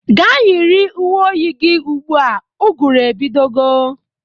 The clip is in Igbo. Ga yiri uwe oyi gi ugbu a! Ụgụrụ ebidogo.